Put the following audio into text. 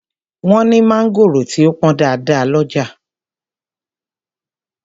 Wọ́n ní mangoro tí ó pọn dáadáa ọlọ́jà.